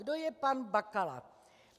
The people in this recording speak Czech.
Kdo je pan Bakala?